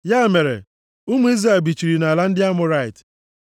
Ya mere, ụmụ Izrel bichiri nʼala ndị Amọrait.